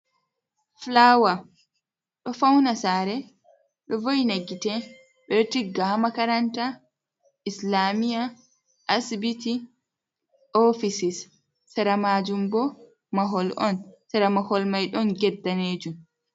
Flawar do fauna sare, do wo'ina gite, bedo tigga ha makaranta, islamiya, asbiti, ofisis, seramajum bo mahol on sera mahol mai don get danejum.